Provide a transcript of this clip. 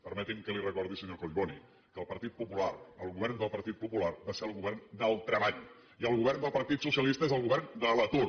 permeti’m que li recordi senyor collboni que el partit popular el govern del partit popular va ser el govern del treball i el govern del partit socialista és el govern de l’atur